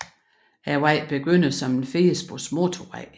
Vejen begynder som en firespors motorvej